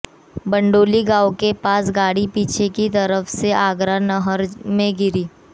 बड़ौली गांव के पास गाड़ी पीछे की तरफ से आगरा नहर में गिरी